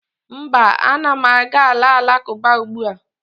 mba, a na m aga ala alakụba ugbua